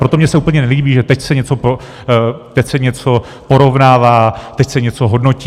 Proto mně se úplně nelíbí, že teď se něco porovnává, teď se něco hodnotí.